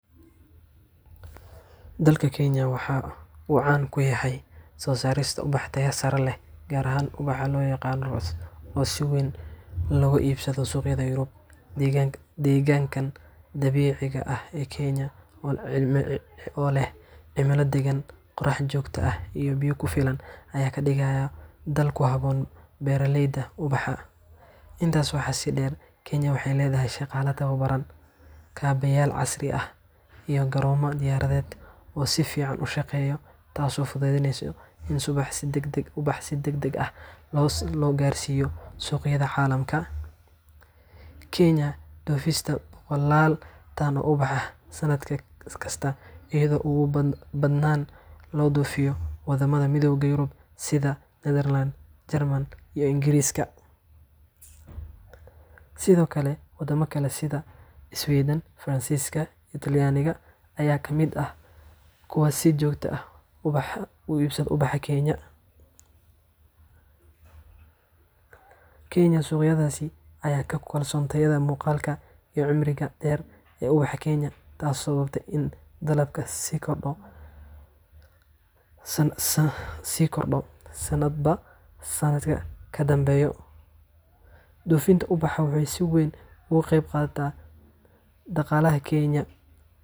Dalka Kenya waxa uu caan ku yahay soo saarista ubax tayo sare leh, gaar ahaan ubaxa loo yaqaan rose, oo si weyn looga iibsado suuqyada Yurub. Deegaanka dabiiciga ah ee Kenya, oo leh cimilo deggan, qorrax joogto ah, iyo biyo ku filan, ayaa ka dhigay dal ku habboon beeralayda ubaxa. Intaas waxaa sii dheer, Kenya waxay leedahay shaqaale tababaran, kaabayaal casri ah, iyo garoomo diyaaradeed oo si fiican u shaqeeya, taasoo fududeysa in ubaxa si degdeg ah loo gaarsiiyo suuqyada caalamka. Kenya waxay dhoofisaa boqolaal tan oo ubax ah sanad kasta, iyadoo ugu badnaan loo dhoofiyo waddamada Midowga Yurub sida Nederland, Jarmalka, iyo Ingiriiska. Sidoo kale waddamo kale sida Iswiidhan, Faransiiska, iyo Talyaaniga ayaa ka mid ah kuwa si joogto ah u iibsada ubaxa Kenya. Suuqyadaas ayaa aad ugu kalsoon tayada, muuqaalka, iyo cimriga dheer ee ubaxa Kenya, taasoo sababtay in dalabku sii kordho sannadba sanadka ka dambeeya. Dhoofinta ubaxa waxay si weyn uga qayb qaadataa dhaqaalaha Kenya.